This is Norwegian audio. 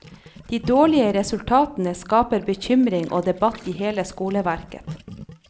De dårlige resultatene skaper bekymring og debatt i hele skoleverket.